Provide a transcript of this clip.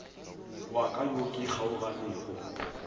wa ka yo ke kgaoganego